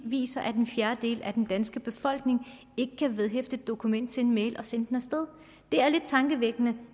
viser at en fjerdedel af den danske befolkning ikke kan vedhæfte et dokument til en mail og sende den af sted det er lidt tankevækkende